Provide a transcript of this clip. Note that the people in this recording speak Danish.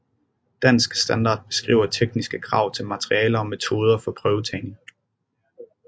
Dansk Standard beskriver tekniske krav til materialer og metoder for prøvetagning